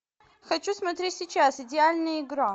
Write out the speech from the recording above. хочу смотреть сейчас идеальная игра